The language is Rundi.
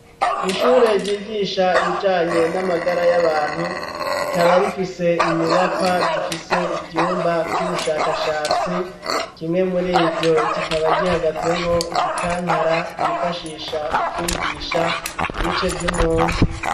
Ishure ryigisha ibijanye n'amagara y'abantu rikaba rifise inyubakwa zifise ivyumba vy'ubushakashatsi, kimwe murivyo kikaba gihagazemwo igikankara bifashisha mu kwigisha ibice vy'umuntu.